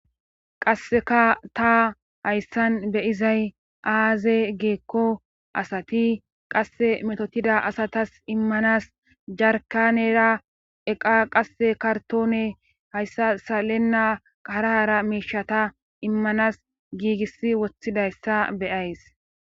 qasseka ta hayssan beyizay aaze giikko asati qasse metotida asatas immanas jarkanera eqa qasse kartoone hayssa salenna arahara miishata immanas giigis wothidayssa beyays